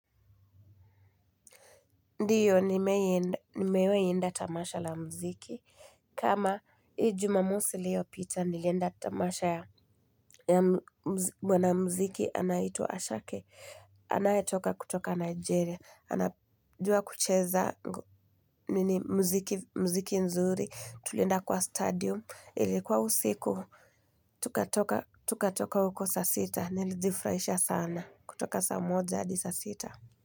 Ndiyo, nimewahi enda tamasha la mziki. Kama, hii jumamosi liyopita, nilienda tamasha ya mwanamziki anaitwa Ashake. Anayetoka kutoka Nigeria. Anajua kucheza mziki nzuri. Tulienda kwa stadium. Ilikuwa usiku, tukatoka huko saa sita. Nilijifraisha sana. Kutoka sa moja hadi saa sita.